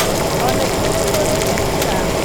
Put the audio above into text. Ona ithuĩ nĩtũrĩte njĩra